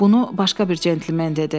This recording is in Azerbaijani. Bunu başqa bir cəntlmen dedi.